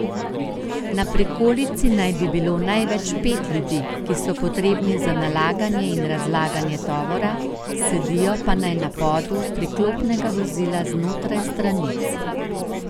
Na prikolici naj bi bilo največ pet ljudi, ki so potrebni za nalaganje in razlaganje tovora, sedijo pa naj na podu priklopnega vozila znotraj stranic.